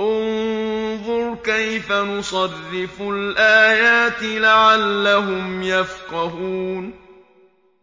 انظُرْ كَيْفَ نُصَرِّفُ الْآيَاتِ لَعَلَّهُمْ يَفْقَهُونَ